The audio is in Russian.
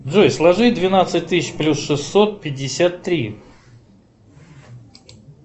джой сложи двенадцать тысяч плюс шестьсот пятьдесят три